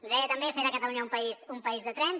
li deia també fer de catalunya un país de trens